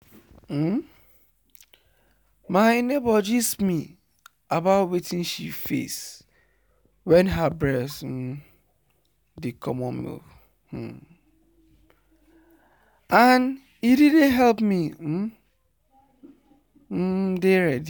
um my neighbor gist me about wetin she face wen her breast um dey comot milk and e really help me um um dey ready.